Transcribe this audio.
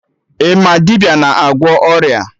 Ị ma dibịa na-agwọ ọrịa?